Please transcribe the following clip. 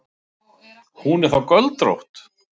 Hún er þá göldrótt!